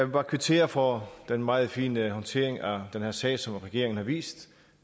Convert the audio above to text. bare kvittere for den meget fine håndtering af den her sag som regeringen har vist